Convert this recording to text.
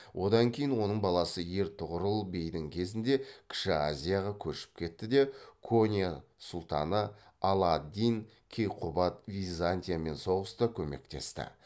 одан кейін оның баласы ертұғырыл бейдің кезінде кіші азияға көшіп кетті де конья сұлтаны ала ад дин кейқубат византиямен соғыста көмектесті